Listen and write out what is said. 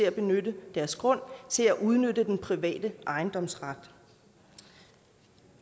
at benytte deres grund til at udnytte den private ejendomsret